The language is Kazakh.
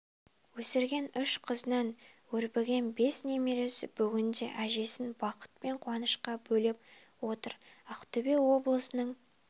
өсірген үш қызынан өрбіген бес немересі бүгінде әжесін бақыт пен қуанышқа бөлеп отыр ақтөбе облысының